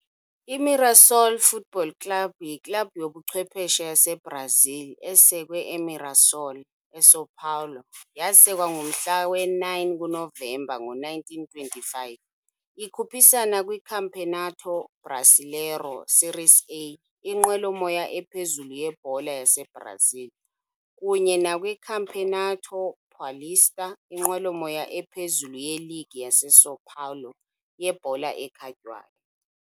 I-Mirassol Futebol Clube yiklabhu yobuchwephesha yaseBrazil esekwe e-Mirassol, eSão Paulo yasekwa ngomhla we-9 kuNovemba ngo-1925. Ikhuphisana kwiCampeonato Brasileiro Série A, inqwelomoya ephezulu yebhola yaseBrazil, kunye nakwiCampeonato Paulista, inqwelomoya ephezulu yeligi yaseSão Paulo yebhola ekhatywayo.